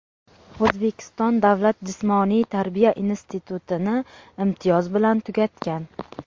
O‘zbekiston davlat jismoniy tarbiya institutini imtiyoz bilan tugatgan.